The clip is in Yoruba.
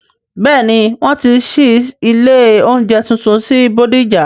Bẹ́ẹ̀ni, wọn ti ṣí ilé oúnjẹ tuntun sí bódìjà